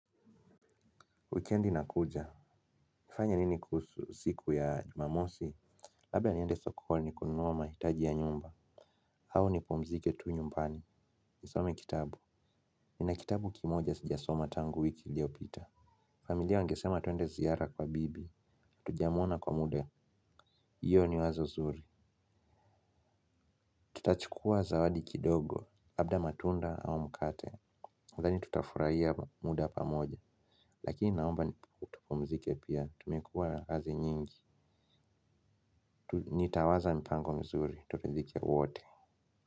Wikendi inakuja. Nifanye nini kuhusu siku ya jumamosi? Labda niende sokoni kununua mahitaji ya nyumba. Au nipumzike tu nyumbani. Nisome kitabu. Nina kitabu kimoja sijasoma tangu wiki iliyopita. Familia wangesema tuende ziara kwa bibi. Hatujamwona kwa muda. Hiyo ni wazo zuri. Tutachukua zawadi kidogo. Labda matunda au mkate. Nadhani tutafurahia muda pamoja. Lakini naomba tupumzike pia. Tumekua kazi nyingi. Nitawaza mpango mzuri. Tutoke nje ya wote.